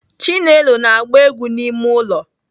Chinelo na-agba egwu n'ime ụlọ.